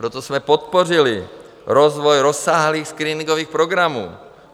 Proto jsme podpořili rozvoj rozsáhlých screeningových programů.